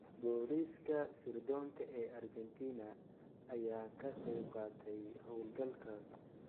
Booliiska sirdoonka ee Argentina ayaa ka qayb qaatay howlgalkaas.